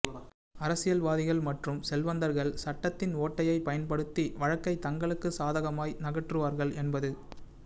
அரசியல்வாதிகள் மற்றும் செல்வந்தர்கள் சட்டத்தின் ஓட்டையை பயன்படுத்தி வழக்கை தங்களுக்கு சாதகமாய் நகற்றுவார்கள் என்பது